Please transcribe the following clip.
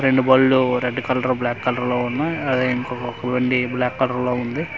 రెండు బండ్లు red colour black colour ఉన్నాయి అదే ఇంకొక బండి బ్లాకు కలర్ లో ఉంది.